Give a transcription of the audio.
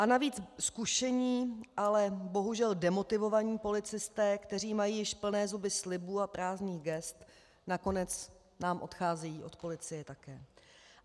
A navíc zkušení, ale bohužel demotivovaní policisté, kteří mají již plné zuby slibů a prázdných gest, nakonec nám odcházejí od policie také.